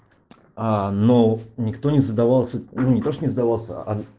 аа но никто не задавался ну не то что не задавался а